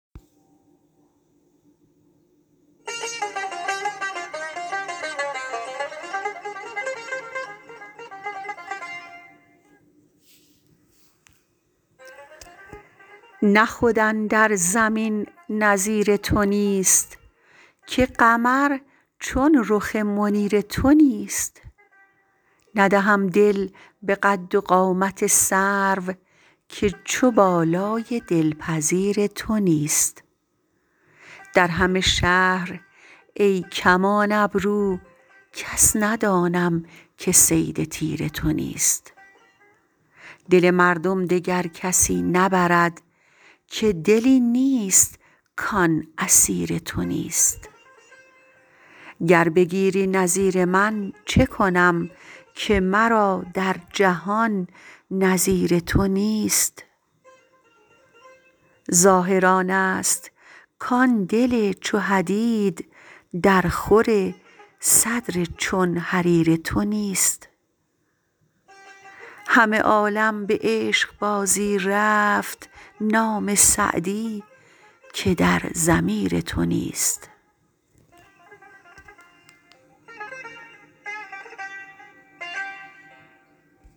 نه خود اندر زمین نظیر تو نیست که قمر چون رخ منیر تو نیست ندهم دل به قد و قامت سرو که چو بالای دلپذیر تو نیست در همه شهر ای کمان ابرو کس ندانم که صید تیر تو نیست دل مردم دگر کسی نبرد که دلی نیست کان اسیر تو نیست گر بگیری نظیر من چه کنم که مرا در جهان نظیر تو نیست ظاهر آنست کان دل چو حدید درخور صدر چون حریر تو نیست همه عالم به عشقبازی رفت نام سعدی که در ضمیر تو نیست